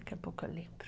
Daqui a pouco eu lembro.